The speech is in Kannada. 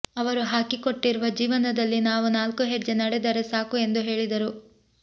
ಅವರು ಹಾಕಿಕೊಟ್ಟಿರುವ ಜೀವನದಲ್ಲಿ ನಾವು ನಾಲ್ಕು ಹೆಜ್ಜೆ ನಡೆದರೆ ಸಾಕು ಎಂದು ಹೇಳಿದರು